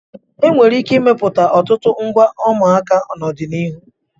E nwere ike imepụta ọtụtụ ngwa ụmụaka n'ọdịnihu.